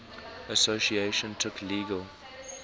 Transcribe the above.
association took legal